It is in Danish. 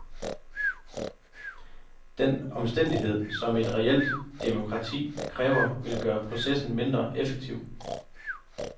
Den omstændighed, som et reelt demokrati kræver, vil gøre processen mindre effektiv.